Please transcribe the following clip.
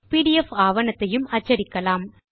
PDF ஆவணத்தையும் அச்சடிக்கலாம்